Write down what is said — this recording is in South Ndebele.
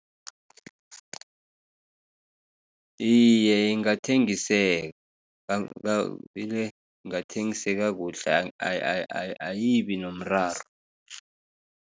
Iye, ingathengiseka bile ingathengiseka kuhle ayibinomraro.